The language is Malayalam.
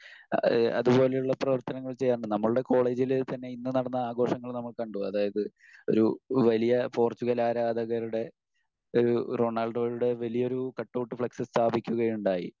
ഇഹ് അതുപോലെയുള്ള പ്രവർത്തനങ്ങൾ ചെയ്യാറുണ്ട്. നമ്മൾടെ കോളേജിൽ തന്നെ ഇന്ന് നടന്ന ആഘോഷങ്ങൾ നമ്മൾ കണ്ടു. അതായത് ഒരു വലിയ പോർച്ചുഗൽ ആരാധകരുടെ ഒരു റൊണാൾഡോയുടെ വലിയൊരു കട്ടൗട്ട് ഫ്ളക്സ് സ്ഥാപിക്കുകയുണ്ടായി.